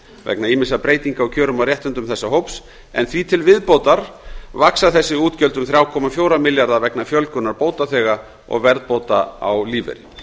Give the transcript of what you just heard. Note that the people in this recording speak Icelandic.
vegna ýmissa breytinga á kjörum og réttindum þessa hóps en því til viðbótar vaxa þessi útgjöld um þrjú komma fjögur milljarða vegna fjölgunar bótaþega og verðbóta á lífeyri